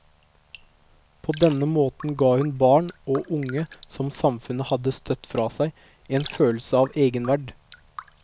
På denne måten ga hun barn og unge som samfunnet hadde støtt fra seg, en følelse av egenverd.